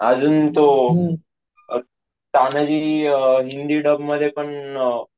अजून तो अं तानाजी अं हिंदी डब मध्ये कंपॉस झाला आहे असं मी ऐकलंय.